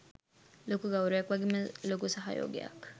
ලොකු ගෞරවයක් වගේම ලොකු සහයෝගයක්